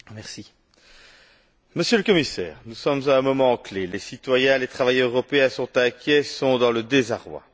Madame la Présidente, Monsieur le Commissaire, nous sommes à un moment clé. Les citoyens et les travailleurs européens sont inquiets et sont dans le désarroi.